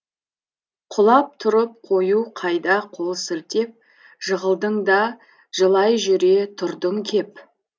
құлап тұрып қою қайда қол сілтеп жығылдың да жылай жүре тұрдың кеп